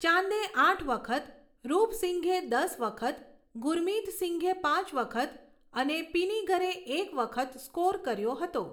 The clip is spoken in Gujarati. ચાંદે આઠ વખત, રૂપ સિંઘે દસ વખત , ગુરમિત સિંઘે પાંચ વખત અને પિનિગરે એક વખત સ્કોર કર્યો હતો.